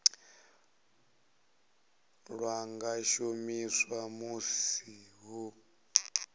lwa nga shumiswa musi hu